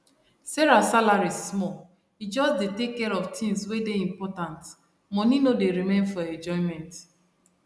sarah salary small e just dey take care of tins wey dey important money no dey remain for enjoyment